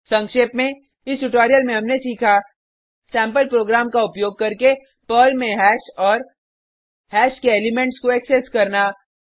संक्षेप में इस ट्यूटोरियल में हमने सीखा सेम्पल प्रोग्राम का उपयोग करके पर्ल में हैश और हैश के एलिमेंट्स को एक्सेस करना